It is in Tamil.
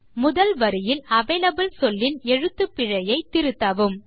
முதல் வரியில் அவலபிள் சொல்லின் எழுத்துப்பிழையை திருத்தவும்